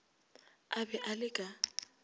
a be a le ka